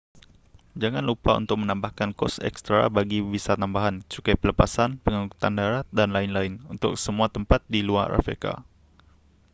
jangan lupa untuk menambahkan kos ekstra bagi visa tambahan cukai pelepasan pengangkutan darat dan lain-lain untuk semua tempat di luar afrika